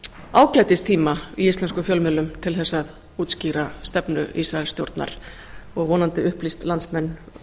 ágætis tíma í íslenskum fjölmiðlum til þess að útskýra stefnu ísraelsstjórnar og vonandi upplýst landsmenn